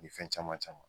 Ni fɛn caman caman